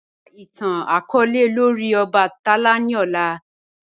Ka itan itan-akọọlẹ lori obatala ni ọla.